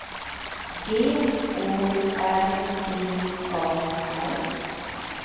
G Å R D A R